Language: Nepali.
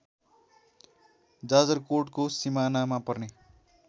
जाजरकोटको सिमानामा पर्ने